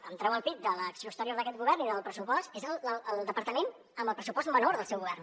hem tret el pit de l’acció exterior d’aquest govern i del pressupost és el departament amb el pressupost menor del seu govern